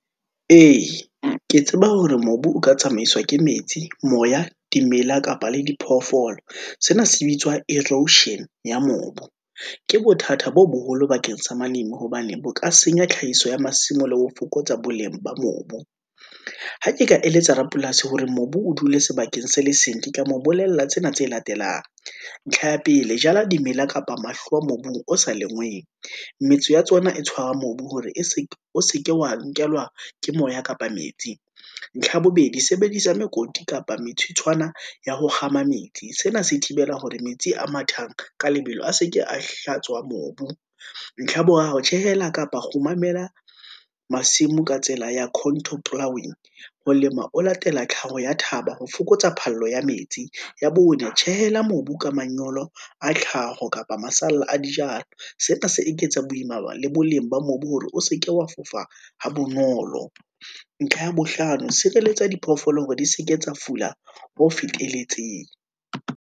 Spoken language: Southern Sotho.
Ee, ke tseba hore mobu o ka tsamaiswa ke metsi, moya di mela kapa le di phoofolo. Sena se bitswa erosion ya mobu, ke bothata bo boholo bakeng sa , hobane bo ka senya tlhahiso ya masimo le ho fokotsa boleng ba mobu, ha ke ka eletsa rapolasi hore mobu o dule sebakeng sele seng, ka mo bolella tsena tse latelang. Ntlha ya pele, jala di mela kapa mahlowa mobung o sa lengweng, metso ya tsona e tshwara mobu hore o se ke wa nkelwa ke moya kapa metsi. Ntlha bobedi sebedisa mekoti kapa metsitshwana ya ho kgama metsi, sena se thibela hore metsi a mathang ka lebelo, a seke a hlatswa mobu. Ntlha ya boraro, tjhehela kapa kgomamela masimo ka tsela ya contour plowing, ho lema o latela tlhaho ya thaba ho fokotsa phallo ya metsi, ya bone, tjhehela mobu ka manyolo a tlhaho kapa masalla a dijalo. Sena se eketsa boima le boleng ba mobu hore o seke wa fofa ha bonolo. Ntlha ya bohlano, Sireletsa diphoofolo hore di seke tsa fula ho feteletseng.